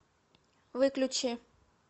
выключи